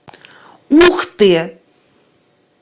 ухты